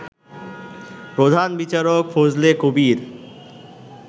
প্রধান বিচারক ফজলে কবীর